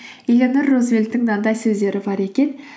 элеонора рузвельттің мынандай сөздері бар екен